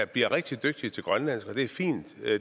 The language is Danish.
bliver rigtig dygtige til grønlandsk og det er fint